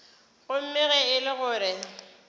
gomme ge e le gore